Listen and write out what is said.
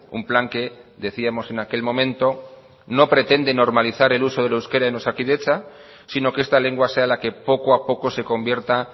un plan que decíamos en aquel momento no pretende normalizar el uso del euskera en osakidetza sino que esta lengua sea la que poco a poco se convierta